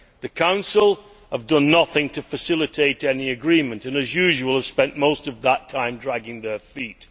The Council have done nothing to facilitate any agreement and, as usual, have spent most of that time dragging their feet.